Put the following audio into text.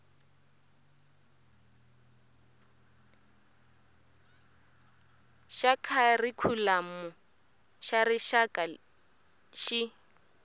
xa kharikhulamu xa rixaka xi